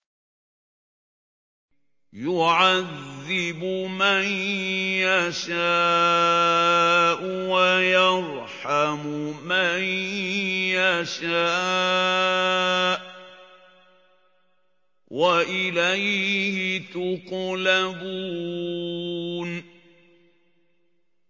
يُعَذِّبُ مَن يَشَاءُ وَيَرْحَمُ مَن يَشَاءُ ۖ وَإِلَيْهِ تُقْلَبُونَ